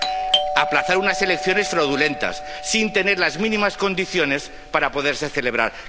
Sí aplazar unas elecciones fraudulentas sin tener las mínimas condiciones para poderse celebrar.